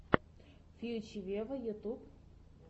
фьюче вево ютюб